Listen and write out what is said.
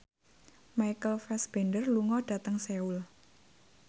Michael Fassbender lunga dhateng Seoul